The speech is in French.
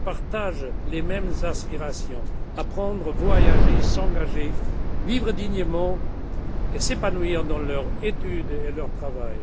Ils partagent les mêmes aspirations apprendre, voyager, s'engager, vivre dignement et s'épanouir dans leurs études et dans leur travail.